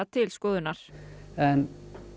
til skoðunar en